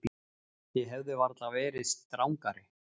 Þið hefðuð varla verið strangari.